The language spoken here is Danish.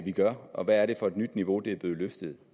gør og hvad er det for et nyt niveau det er blevet løftet